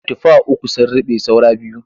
Tufa uku sun ruɓe saura biyu.